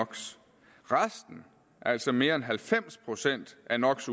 resten altså mere end halvfems procent af no